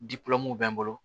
bɛ n bolo